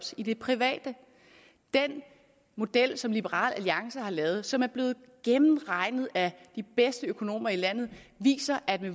i det private den model som liberal alliance har lavet og som er blevet gennemregnet af de bedste økonomer i landet viser at